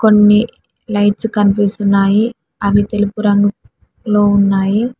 కొన్ని లైట్స్ కన్పిస్తున్నాయి అవి తెలుపు రంగు లో ఉన్నాయి.